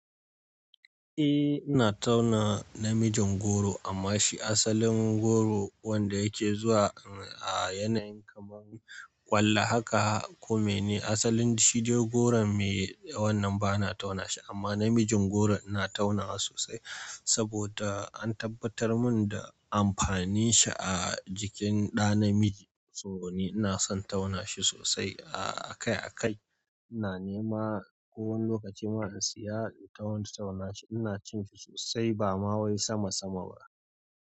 Eh, ina tauna namijin goro amma shi asalin goro wanda yake zuwa a yanayi kamar ƙwallo haka ko mene, asalin shi shi de goron mai, wannan bana tauna shi amma namijin goro ina taunawa sosai saboda an tabbatar mun da amfanin shi a jikin ɗa namiji. To ni ina son tauna shi sosai akai akai ina nema ko wani lokaci ma in siya don tauna shi. Ina cin shi sosai ba ma wai sama sama ba.